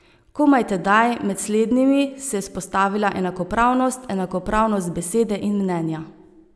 Komaj tedaj, med slednjimi, se je vzpostavila enakopravnost, enakopravnost besede in mnenja.